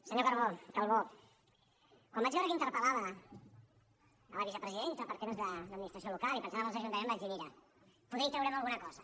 senyor calbó quan vaig veure que interpel·lava la vicepresidenta per temes d’administració local i pensant en els ajuntaments vaig dir mira poder hi traurem alguna cosa